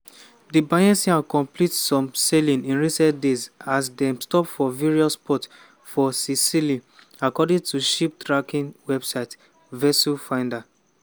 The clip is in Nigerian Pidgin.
di bayesian bin complete some sailings in recent days as dem stop for various ports for sicily according to ship-tracking website vesselfinder.